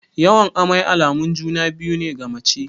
Yawan amai alamun juna-biyu ne ga mace.